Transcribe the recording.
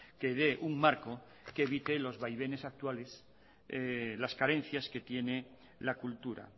que dé un marco que evite los vaivenes actuales las carencias que tiene la cultura